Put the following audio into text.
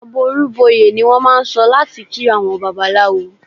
"Àbọrú bọyè" ni wọ́n máà ń sọ láti kí àwọn Babaláwo.